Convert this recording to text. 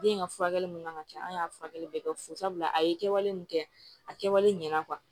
Den ka furakɛli minnu ka kan ka kɛ an y'a furakɛli bɛɛ kɛ fo sabula a ye kɛwale min kɛ a kɛwale ɲɛna